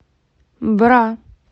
бра